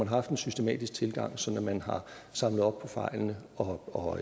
haft en systematisk tilgang sådan at man har samlet op på fejlene og